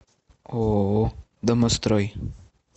ооо домострой